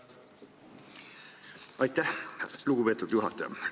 Aitäh, lugupeetud juhataja!